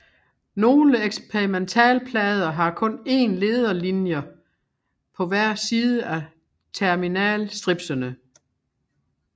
Nogle eksperimentalplader har kun én lederlinjer på hver side af terminal stripsene